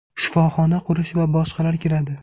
shifoxona qurish va boshqalar kiradi.